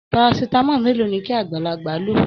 Parasitamọ mélòó ní kí agbalagba ló?